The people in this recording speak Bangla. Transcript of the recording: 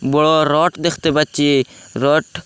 বড় রড দেখতে পাচ্ছি রড --